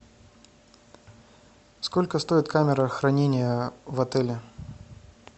сколько стоит камера хранения в отеле